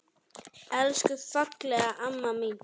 Elsku fallega amma mín.